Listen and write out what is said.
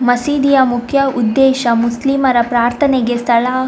ಮಸೀದಿಯ ಮುಖ್ಯ ಉದ್ದೇಶ ಮುಸ್ಲಿಮರ ಪ್ರಾರ್ಥನೆಗೆ ಸ್ಥಳ --